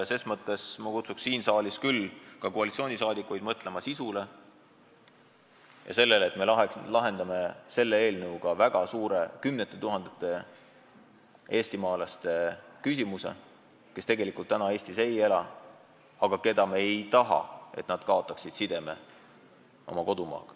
Ses mõttes ma kutsun ka saalis istuvaid koalitsioonisaadikuid üles mõtlema eelnõu sisule ja sellele, et me lahendaksime selle seadusega väga suure kogukonna, kümnete tuhandete inimeste küsimuse, kes küll Eestis ei ela, aga kelle puhul me ei taha, et nad kaotaksid sideme oma kodumaaga.